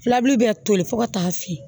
Filabulu bɛ toli fo ka taa se